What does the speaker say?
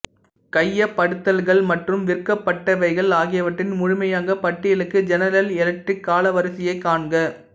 கையப்படுத்தல்கள் மற்றும் விற்கப்பட்டவைகள் ஆகியவற்றின் முழுமையான பட்டியலுக்கு ஜெனரல் எலக்ட்ரிக் காலவரிசையைக் காண்க